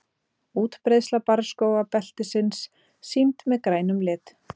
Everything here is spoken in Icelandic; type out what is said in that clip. útbreiðsla barrskógabeltisins sýnd með grænum lit